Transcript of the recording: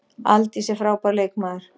Aldís er frábær leikmaður.